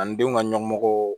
Ani denw ka ɲɔmɔgɔw